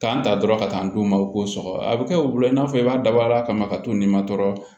K'an ta dɔrɔn ka taa n d'u ma u k'o sɔgɔ a bɛ kɛ wula i n'a fɔ i b'a dabɔ a kama ka to nin matɔrɔni